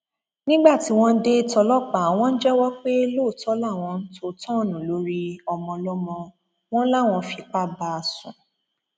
nígbà tí wọn dé tọlọpàá wọn jẹwọ pé lóòótọ làwọn tó tọọnù lórí ọmọọlọmọ wọn làwọn fipá bá a sùn